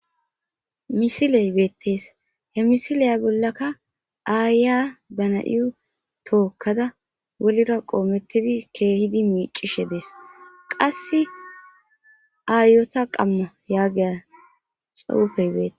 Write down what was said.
misiley beettees he misileya bollaka aaya dana7yyu tookkada wolira qoomettidi keehidi miicishe dees qasse aayota qamma yaagiya xawufey beete